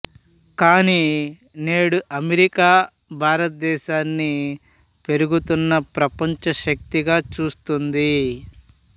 కాని నేడు అమెరికా భారతదేశాన్ని పెరుగుతున్న ప్రపంచ శక్తిగా చూస్తోంది